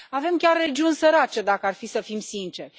Avem chiar regiuni sărace, dacă ar fi să fim sinceri.